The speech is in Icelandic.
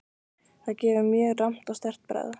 Það gefur mjög rammt og sterkt bragð.